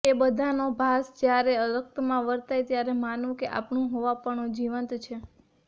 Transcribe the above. એ બધાનો ભાસ જ્યારે રક્તમાં વર્તાય ત્યારે માનવું કે આપણું હોવાપણું જીવંત છે